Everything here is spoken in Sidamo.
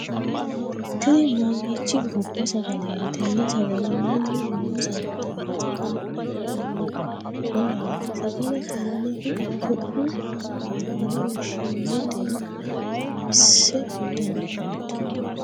tini mamiichi gobba sagaleeti? tenne sagale mayiinni loonsanni? tenne sagale afi'naniu mamaati? sagale tennehu su'mu maati yine woshshinannitero xawisa dandaatto?